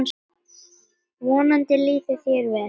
Vonandi líður þér vel.